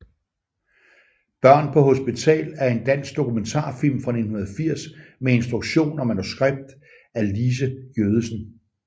Børn på hospital er en dansk dokumentarfilm fra 1980 med instruktion og manuskript af Lise Giødesen